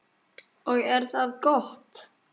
Og er það gott.